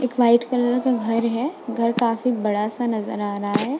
एक white colour का घर है घर काफी बड़ा सा नजर आ रहा है।